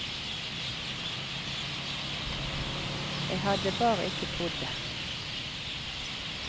Jeg hadde bare ikke trodd det.